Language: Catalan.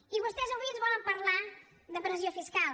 i vostès avui ens volen parlar de pressió fiscal